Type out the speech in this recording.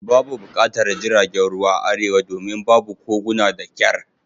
Babu buƙatar jiragen ruwa a Arewa domin babu koguna da kyar